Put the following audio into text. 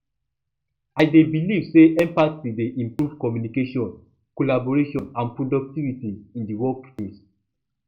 i dey believe say empathy dey improve communication collaboration and productivity in di workplace